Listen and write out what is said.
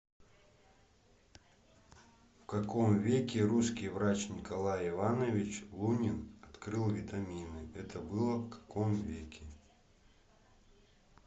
в каком веке русский врач николай иванович лунин открыл витамины это было в каком веке